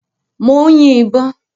Mò ń yin ìbọn.